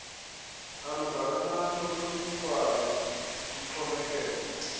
olungakanani olunikwayo luxhomekeka